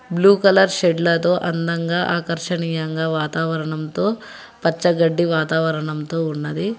Blue colour షెడ్లతో అందంగా ఆకర్షణీయంగా వాతావరణంతో పచ్చగడ్డి వాతావరణంతో ఉన్నది.